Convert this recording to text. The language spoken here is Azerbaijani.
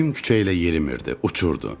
Əmim küçə ilə yerimirdi, uçurdu.